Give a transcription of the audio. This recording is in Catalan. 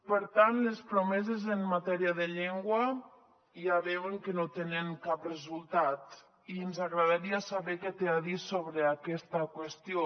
per tant les promeses en matèria de llengua ja veuen que no tenen cap resultat i ens agradaria saber què té a dir sobre aquesta qüestió